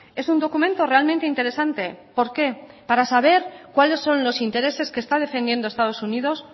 es un documento realmente interesante por qué para saber cuáles son los intereses que está defendiendo estados unidos